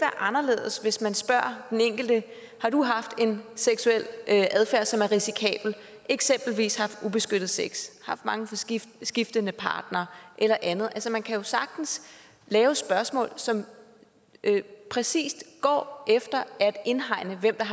anderledes hvis man spørger den enkelte har du haft en seksuel adfærd som er risikabel eksempelvis haft ubeskyttet sex haft mange skiftende skiftende partnere eller andet man kan jo sagtens lave spørgsmål som præcis går efter at indhegne hvem der